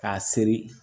K'a seri